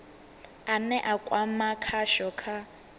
ane a kwama khasho kha